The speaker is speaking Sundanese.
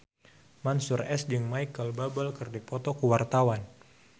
Mansyur S jeung Micheal Bubble keur dipoto ku wartawan